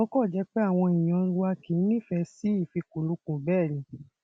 ó kàn jẹ pé àwọn èèyàn wa kì í nífẹẹ sí ìfikùnlukùn bẹẹ ni